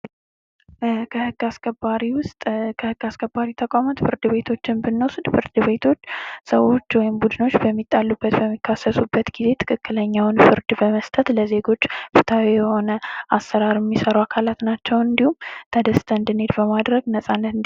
የዜጎችን ደህንነትና ንብረት ለመጠበቅ ሌት ተቀን የሚሰሩ ታማኝ የህዝብ አገልጋዮች